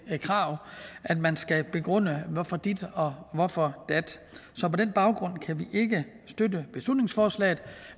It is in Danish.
krav at man skal begrunde hvorfor dit og hvorfor dat så på den baggrund kan vi ikke støtte beslutningsforslaget